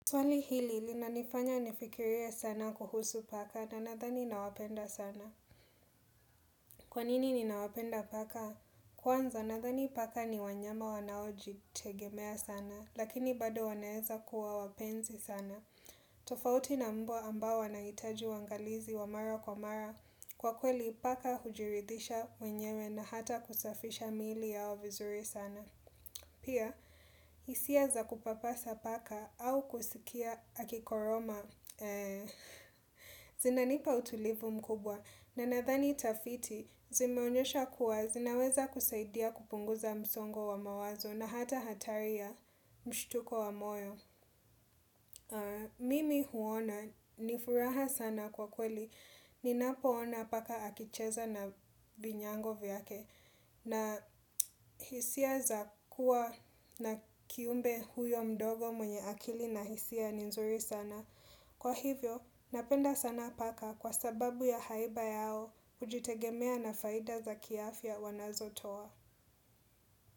Swali hili linanifanya nifikirie sana kuhusu paka na nadhani nawapenda sana. Kwanini ninawapenda paka? Kwanza nadhani paka ni wanyama wanaojitegemea sana, lakini bado wanaeza kuwa wapenzi sana. Tofauti na mbwa ambao wanahitaju uangalizi wa mara kwa mara kwa kweli paka hujiridisha wenyewe na hata kusafisha miili yao vizuri sana. Pia, hisia za kupapasa paka au kusikia akikoroma zinanipa utulivu mkubwa na nadhani tafiti zimeonyesha kuwa zinaweza kusaidia kupunguza msongo wa mawazo na hata hatari ya mshtuko wa moyo. Mimi huona ni furaha sana kwa kweli. Ninapoona paka akicheza na vinyago vyake. Na hisia za kuwa na kiumbe huyo mdogo mwenye akili na hisia ni nzuri sana. Kwa hivyo, napenda sana paka kwa sababu ya haiba yao hujitegemea na faida za kiafya wanazotoa.